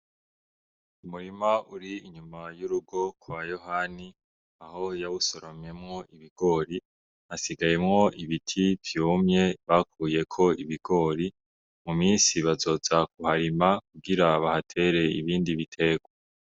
Umurima uri inyuma y'urugo kwa Yohani aho yawusoromyemwo ibigori hasigayemwo ibiti vyumye bakuyeko ibigori mu minsi bazoza ku harima kugira bahatere ibindi biterwa.